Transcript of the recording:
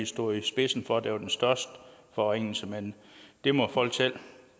stod i spidsen for der var den største forringelse men det må folk selv